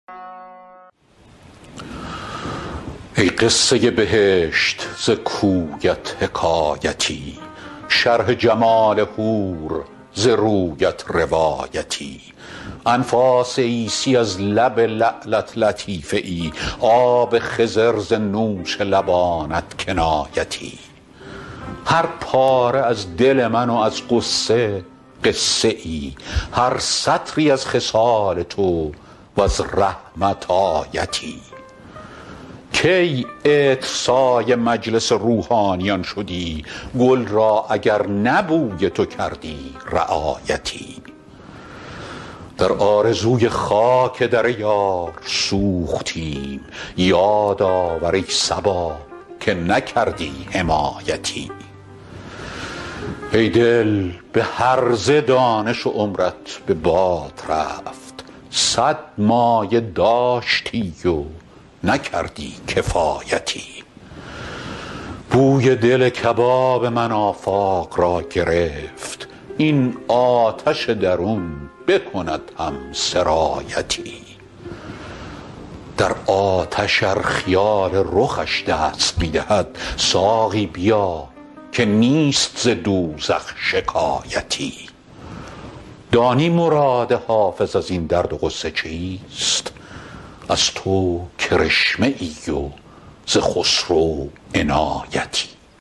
ای قصه بهشت ز کویت حکایتی شرح جمال حور ز رویت روایتی انفاس عیسی از لب لعلت لطیفه ای آب خضر ز نوش لبانت کنایتی هر پاره از دل من و از غصه قصه ای هر سطری از خصال تو و از رحمت آیتی کی عطرسای مجلس روحانیان شدی گل را اگر نه بوی تو کردی رعایتی در آرزوی خاک در یار سوختیم یاد آور ای صبا که نکردی حمایتی ای دل به هرزه دانش و عمرت به باد رفت صد مایه داشتی و نکردی کفایتی بوی دل کباب من آفاق را گرفت این آتش درون بکند هم سرایتی در آتش ار خیال رخش دست می دهد ساقی بیا که نیست ز دوزخ شکایتی دانی مراد حافظ از این درد و غصه چیست از تو کرشمه ای و ز خسرو عنایتی